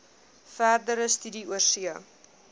verdere studie oorsee